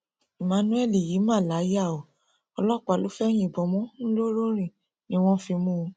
emmanuel yìí mà láyà o ọlọpàá ló fẹẹ yìnbọn mọ ńlọrọrìn tí wọn fi mú un